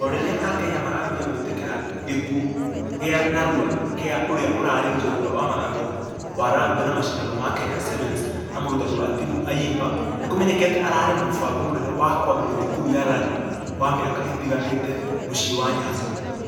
O rĩrĩa akenya marambia gũĩtĩkĩra gĩkuo gĩa narua gĩa ũrĩa ũrarĩ njorua wa mũthako wa rugby na mashidano ma kenya sevens na mũrutani wa timũ ayimba. Nĩkũmenyekĩte ararĩ na mũbango mũnene wa kũambĩrĩria thukuru ya rugby wa miaka ĩtiganĩte mũciĩ wa nyanza.